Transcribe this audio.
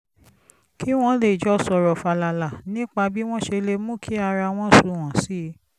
kí wọ́n lè jọ sọ̀rọ̀ fàlàlà nípa bí wọ́n ṣe lè mú kí ara wọn sunwọ̀n sí i